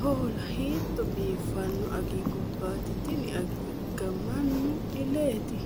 Hoola!! Hiito biifanno agigubbatti tini anigga mannu illatte?